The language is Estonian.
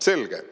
Selge!"